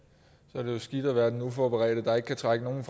jo skidt at være den uforberedte der ikke kan trække nogle